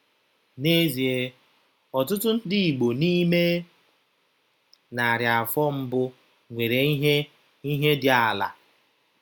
N'ezie, ọtụtụ ndị Igbo n'ime narị afọ mbụ nwere ihe ihe dị ala.